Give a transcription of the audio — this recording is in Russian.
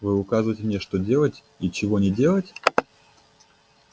вы указываете мне что делать и чего не делать